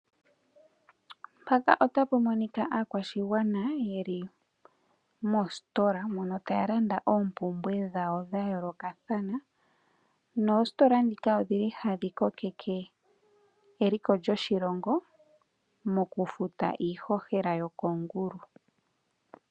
Aakwashigwana yeli mostola mono taalanda oompumbwe dhawo dhayoolokathana ,noostola dhika odhili hadhi kokeke eliko lyoshilongo, moku futa iighogela yoko ngulu .